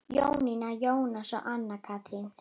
Jónína, Jónas og Anna Katrín.